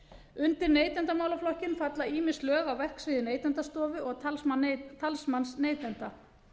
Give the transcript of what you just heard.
undir neytendamálaflokkinn falla ýmis lög á verksviði neytendastofu og talsmanns neytenda